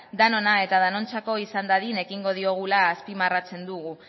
denona eta denontzako izan dadin ekingo diogula azpimarratzen dugu